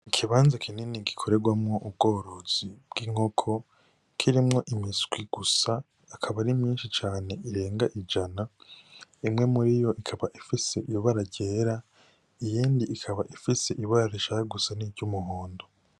Ikibanza kinini cane gikoregwamwo ubworozi bw'inkoko kirimwo imiswi gusa ikaba ari myinshi cane irenga mw'ijana imwe muriyo ikaba ifise ibara ryera iyindi ikaba ifise ibara r